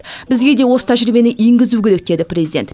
бізге де осы тәжірибені енгізу керек деді президент